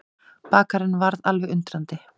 Bakarinn varð alveg undrandi.